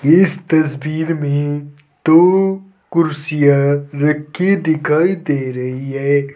इस तस्वीर मे दो कुर्सियां रखी दिखाई दे रही है।